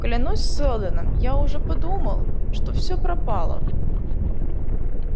клянусь сэлдоном я уже подумал что всё пропало